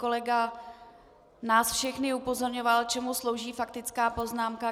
Kolega nás všechny upozorňoval, čemu slouží faktická poznámka.